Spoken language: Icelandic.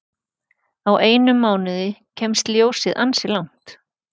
Á einum mánuði kemst ljósið ansi langt.